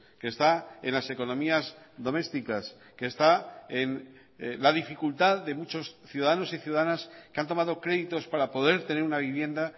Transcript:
que está en las economías domésticas que está en la dificultad de muchos ciudadanos y ciudadanas que han tomado créditos para poder tener una vivienda